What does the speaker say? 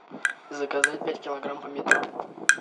заказать пять килограмм помидор